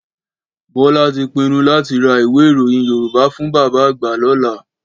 Bọ́lá ti pinnu láti ra ìwé ìròyìn Yorùbá fún bàbá àgbà lọ́la.